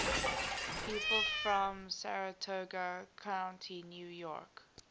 people from saratoga county new york